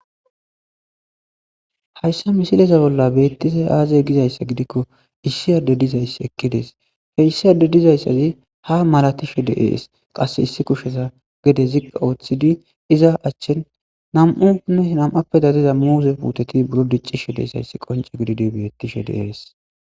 hayssa misileza bolla beettise aaze gizayssa gidikko issi adde dizayss ekkides feyssi adde dizayssazi ha malatishe deees qasse issi kusheza gede zikka ooththidi iza achchin nam7unne nam7appe dadiza muuze puuteti buro diccishe deyssayssi qonce gididi beettishe deees